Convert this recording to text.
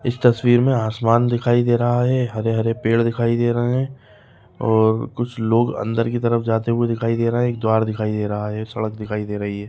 इस तस्वीर मे आसमान दिखाई दे रहा है हरे-हरे पेड़ दिखाई दे रहे है और कुछ लोग अंदर की तरफ जाते हुए दिखाई दे रहे है एक द्वार दिखाई दे रहा है सड़क दिखाई दे रही है।